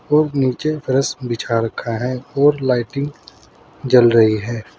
और नीचे फरश बिछा रखा है और लाइटिंग जल रही है।